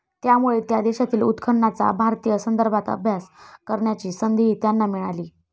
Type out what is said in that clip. त्यामुळे त्या देशातील उत्खननाचा भारतीय संदर्भात अभ्यास करण्याची संधीही त्यांना मिळाली.